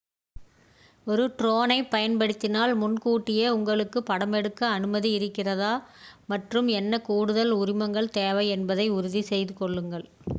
ஒரு ட்ரோனைப் பயன்படுத்தினால் முன்கூட்டியே உங்களுக்கு படமெடுக்க அனுமதி இருக்கிறதா மற்றும் என்ன கூடுதல் உரிமங்கள் தேவை என்பதை உறுதி செய்து கொள்ளுங்கள்